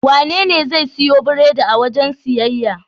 Wanene zai siyo biredi a wajen siyayya?